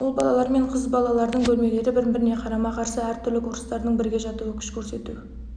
ұл балалар мен қыз балалардың бөлмелері бір-біріне қарама қарсы әр түрлі курстардың бірге жатуы күш көрсету